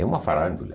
É uma farándula.